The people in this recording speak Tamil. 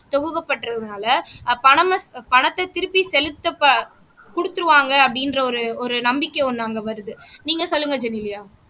துவங்கப்பட்டதுனால பணமா பணத்தை திருப்பி செலுத்தப்ப குடுத்துருவாங்க அப்படின்ற ஒரு ஒரு நம்பிக்கை ஒண்ணு அங்க வருது நீங்க சொல்லுங்க ஜெனிலியா